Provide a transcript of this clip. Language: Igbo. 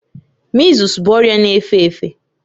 Mịzụs bụ ọrịa na-efe efe